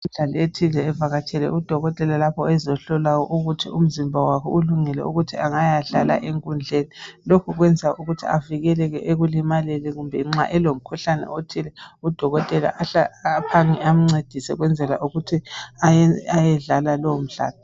Umdlali othile evakatshele udokotela lapho azohlola ukuthi umzimba wakhe ulungele angayadlala enkundleni. Lokhu kwenza ukuthi avikeleke ekulimaleni kumbe nxa elokhuhlane othile udokotela ahle aphange amncedise ukwenzela ukuthi ayedlala lowo mdlalo.